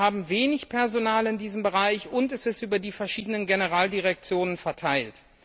Wir haben wenig Personal in diesem Bereich, und es ist über die verschiedenen Generaldirektionen verteilt.